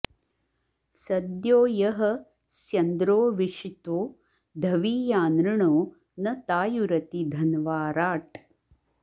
सद्यो यः स्यन्द्रो विषितो धवीयानृणो न तायुरति धन्वा राट्